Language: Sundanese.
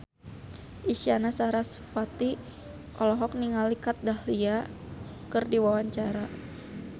Isyana Sarasvati olohok ningali Kat Dahlia keur diwawancara